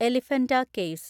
Elephanta caves